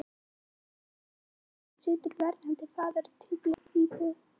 Áttatíu og fimm árum síðar situr verðandi faðir í teppalagðri íbúð á